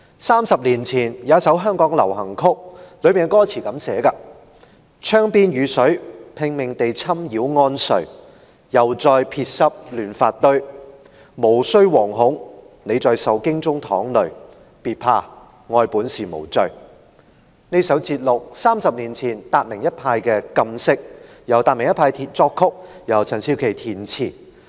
三十年前，香港有一首流行曲，當中有這樣的歌詞："窗邊雨水拼命地侵擾安睡又再撇濕亂髮堆無須惶恐你在受驚中淌淚別怕愛本是無罪"歌詞節錄自30年前達明一派的"禁色"，由達明一派作曲、陳少琪填詞。